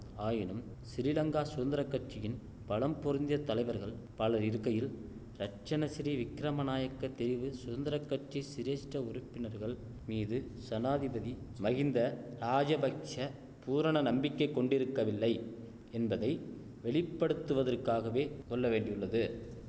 ஆயினும் சிறீலங்கா சுதந்திர கட்சியின் பலம் பொருந்திய தலைவர்கள் பலர் இருக்கையில் ரட்சணசிறி விக்கிரம நாயக்க தெரிவு சுதந்திர கட்சி சிரேஷ்ட உறுப்பினர்கள் மீது சனாதிபதி மகிந்த ராஜபக்ஷ பூரண நம்பிக்கை கொண்டிருக்கவில்லை என்பதை வெளிப்படுத்துவதற்காகவே கொள்ள வேண்டியுள்ளது